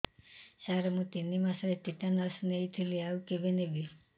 ସାର ମୁ ତିନି ମାସରେ ଟିଟାନସ ନେଇଥିଲି ଆଉ କେବେ ନେବି